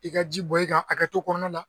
I ka ji bɔn i kan akɛto kɔnɔna na.